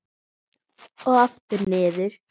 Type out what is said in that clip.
Og aftur niður.